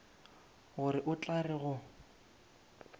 gore o tla re go